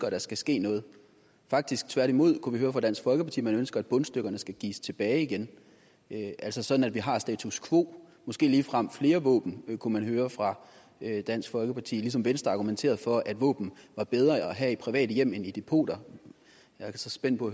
at der skal ske noget faktisk tværtimod vi kunne høre på dansk folkeparti at man ønsker at bundstykkerne skal gives tilbage igen altså sådan at vi har status quo måske ligefrem flere våben kunne man høre fra dansk folkeparti der ligesom venstre argumenterede for at våben var bedre at have i private hjem end i depoter jeg er så spændt på